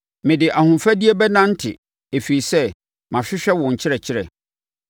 Mede ahofadie bɛnante ɛfiri sɛ mahwehwɛ wo nkyerɛkyerɛ.